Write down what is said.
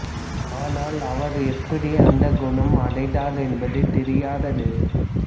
ஆனால் அவர் எப்படி அந்த குணம் அடைந்தார் என்பது தெரியாதது